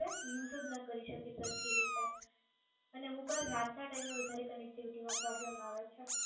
use જ ના કરી શકીએ સરખી રીતે અને અમુકવાર રાત ના ટાઈમે વધારે connectivity નો problem આવે છે.